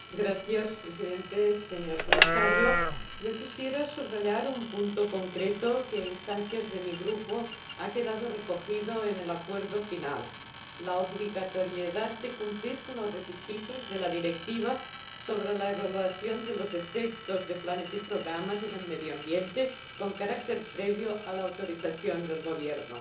Señor Presidente, señor Comisario, quisiera subrayar un punto concreto que, a instancias de mi Grupo, ha quedado recogido en el acuerdo final la obligatoriedad de cumplir con los requisitos de la Directiva sobre la evaluación de los efectos de planes y programas en el medio ambiente con carácter previo a la autorización del Gobierno.